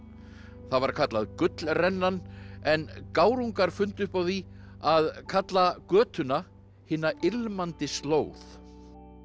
það var kallað Gullrennan en gárungar fundu upp á því að kalla götuna hina ilmandi slóð